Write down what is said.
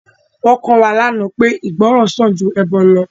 Wọn kọ́ wa lánàá pé ìgbọràn sàn ju ẹbọ lọ